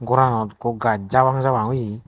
goranot ekko gaj jabang jabang oye.